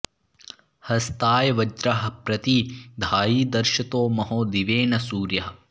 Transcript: हस्ताय वज्रः प्रति धायि दर्शतो महो दिवे न सूर्यः